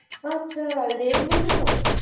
ও আচ্ছা red movie র মতো?